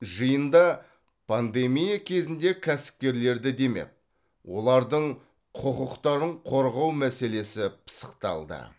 жиында пандемия кезінде кәсіпкерлерді демеп олардың құқықтарын қорғау мәселесі пысықталды